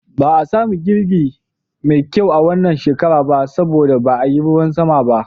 Ba a sami girbi mai kyau a wannan shekara ba saboda ba a yi ruwan sama ba.